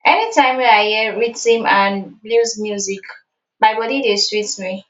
anytime wey i hear rhytim and blues music my body dey sweet me